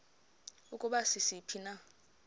ukuba sisiphi na